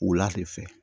Wula de fɛ